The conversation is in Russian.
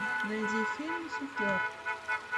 найди фильм суфлер